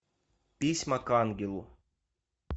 письма к ангелу